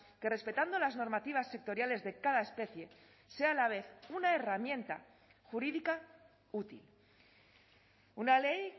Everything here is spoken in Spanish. que respetando las normativas sectoriales de cada especie sea a la vez una herramienta jurídica útil una ley